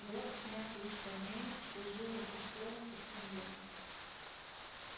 гроб снятый с саней служил им и столом и скамьёй